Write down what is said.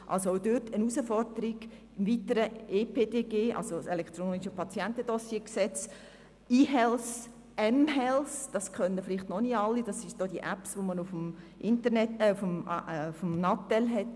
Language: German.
Dann gibt es das Gesetz über das elektronische Patientendossier (Bundesgesetz über das elektronische Patientendossier, EPDG), sowie e-Health und mHealth.